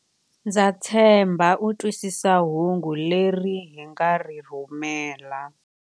Ndza tshemba u twisisa hungu leri hi nga ri rhumela.